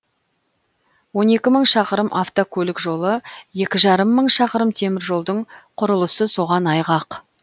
он екі мың шақырым авткөлік жолы екі жарым мың шақырым теміржолдың құрылысы соған айғақ